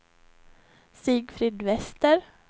Sigfrid Wester